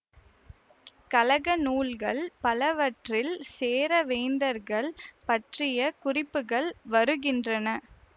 கழக நூல்கள் பலவற்றில் சேர வேந்தர்கள் பற்றிய குறிப்புக்கள் வருகின்றன